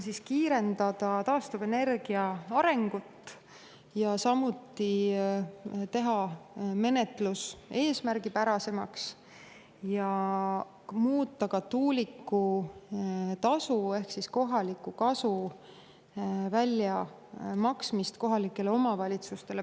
Selle eesmärk on kiirendada taastuvenergia arengut, samuti teha menetlus eesmärgipärasemaks ja muuta paindlikumaks ka tuulikutasu ehk kohaliku kasu väljamaksmine kohalikele omavalitsustele.